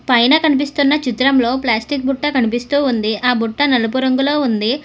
పైన కనిపిస్తున్న చిత్రంలో ప్లాస్టిక బుట్ట కనిపిస్తూ ఉంది ఆ బుట్ట నలుపు రంగులో ఉంది.